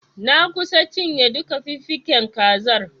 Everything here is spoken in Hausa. Na kusa cinye duka fiffiken kazar.